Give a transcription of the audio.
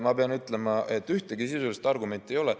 Ma pean ütlema, et ühtegi sisulist argumenti ei ole.